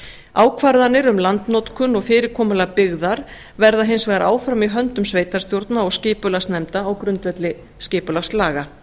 ákvarðanir um landnotkun og fyrirkomulag byggðar verða hins vegar áfram í höndum sveitarstjórna og skipulagsnefnda á grundvelli skipulagslaga